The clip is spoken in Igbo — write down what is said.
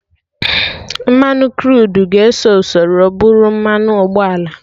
Mmanụ Kruud ga-eso usoro bụrụ mmanụ ụgbọala